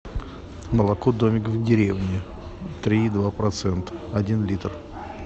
молоко домик в деревне три и два процента один литр